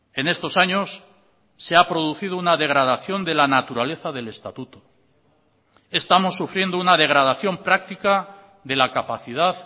en estos años se ha producido una degradación de la naturaleza del estatuto estamos sufriendo una degradación práctica de la capacidad